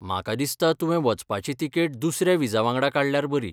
म्हाका दिसता तुवें वचपाची तिकेट दुसऱ्या विजा वांगडा काडल्यार बरी.